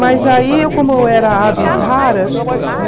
Mas aí, como eu era né?